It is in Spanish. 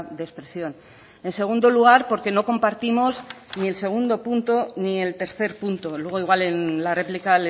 de expresión en segundo lugar porque no compartimos ni el segundo punto ni el tercer punto luego igual en la réplica